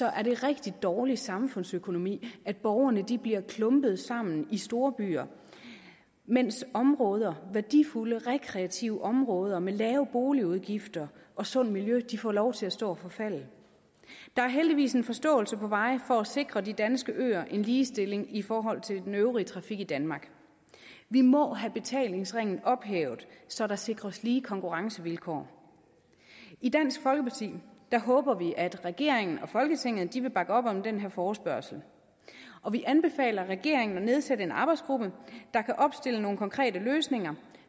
er det rigtig dårlig samfundsøkonomi at borgerne bliver klumpet sammen i storbyer mens områder værdifulde rekreative områder med lave boligudgifter og sundt miljø får lov til at stå og forfalde der er heldigvis en forståelse på vej for at sikre de danske øer en ligestilling i forhold til den øvrige trafik i danmark vi må have betalingsringen ophævet så der sikres lige konkurrencevilkår i dansk folkeparti håber vi at regeringen og folketinget vil bakke op om den her forespørgsel og vi anbefaler regeringen at nedsætte en arbejdsgruppe der kan opstille nogle konkrete løsninger